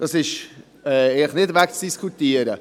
Das ist nicht wegzudiskutieren.